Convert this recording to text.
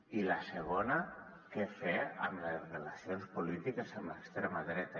i la segona què fer amb les relacions polítiques amb l’extrema dreta